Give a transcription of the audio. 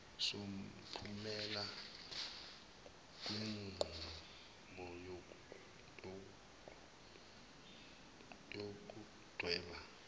somphumela wenqubo yokudweba